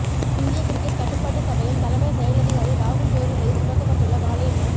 இந்திய கிரிக்கெட் கட்டுப்பாட்டு சபையின் தலைமை செயலதிகாரி ராகுல் ஜோரி மீது சுமத்தப்பட்டுள்ள பாலியல் ம